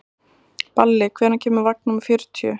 Balli, hvenær kemur vagn númer fjörutíu?